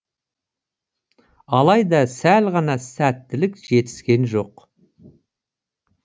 алайда сәл ғана сәттілік жетіскен жоқ